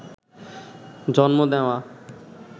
জন্ম নেওয়া